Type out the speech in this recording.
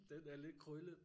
Den er lidt krøllet